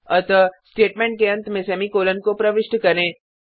अतः स्टेटमेंट के अंत में सेमीकॉलन को प्रविष्ट करें